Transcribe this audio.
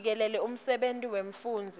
jikelele semsebenti wemfundzi